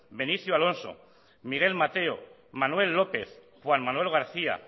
benicio alonso miguel mateo manuel lópez juan manuel garcía